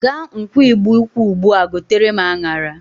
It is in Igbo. Gaa nkwọ Igbo-ukwu ugbu a gotere m aṅara!